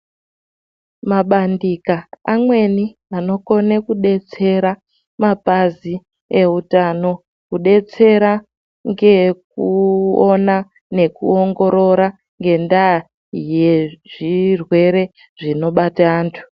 Mabandika amweni anokona kubetsera mapazi eutano kubetsera. Ngekuona ngekuongorora ngendaa yezvirwere zvinobata antu.